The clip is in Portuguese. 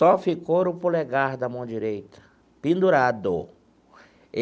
Só ficou o polegar da mão direita, pendurado.